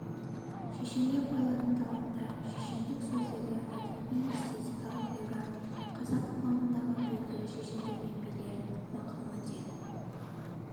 шешенге қойылатын талаптар шешендік сөздегі әдеби-эстетикалық ғибрат қазақ қоғамындағы белгілі шешендер мен билер мақал-мәтел